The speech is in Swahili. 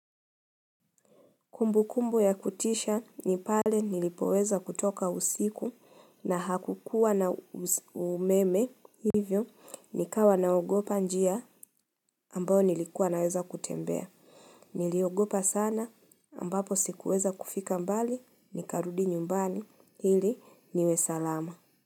Kumbukumbu ya kutisha ni pale nilipoweza kutoka usiku na hakukuwa na umeme hivyo nikawa naogopa njia ambayo nilikuwa naweza kutembea. Niliogopa sana ambapo sikuweza kufika mbali nikarudi nyumbani ili niwe salama.